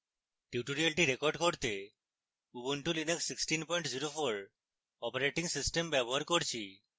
tutorial record করতে ubuntu linux 1604 operating system ব্যবহার করছি